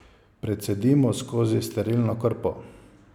Precedimo skozi sterilno krpo.